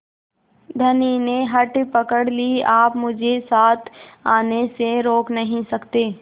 धनी ने हठ पकड़ ली आप मुझे साथ आने से रोक नहीं सकते